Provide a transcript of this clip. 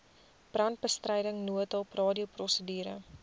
brandbestryding noodhulp radioprosedure